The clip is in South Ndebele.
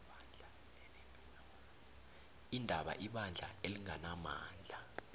iindaba ibandla elinganamandla